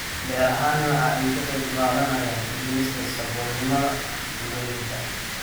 Beerahani waxa ay ka qayb qaadanayaan dhimista saboolnimada tuulooyinka.